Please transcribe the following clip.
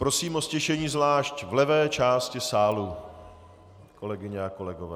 Prosím o ztišení zvlášť v levé části sálu, kolegyně a kolegové.